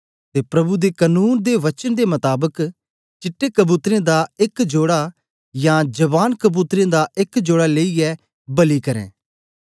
ते प्रभु दे कनून दे वचन दे मताबक चिट्टे कबूतरें दा एक जोड़ा यां जवान कबूतरें दा एक जोड़ा लेईयै बलि करें